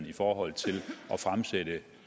i forhold til at fremsætte